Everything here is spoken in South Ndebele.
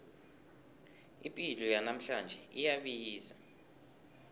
ipilo yanamhlanje iyabiza